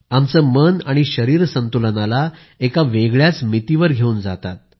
आमचं मन शरीर संतुलनाला एका वेगळ्याच मितीवर घेऊन जातात